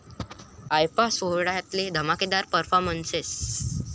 IIFA' सोहळ्यातले धमाकेदार performances